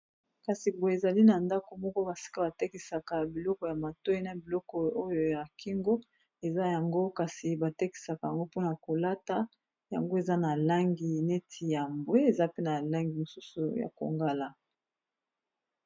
Kasi boye ezali na ndako moko basika batekisaka biloko ya matoyi na biloko oyo ya kingo eza yango kasi batekisaka yango mpona kolata yango eza na langi neti ya mbwe eza pe na langi mosusu ya kongala.